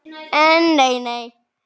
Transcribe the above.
En nei nei.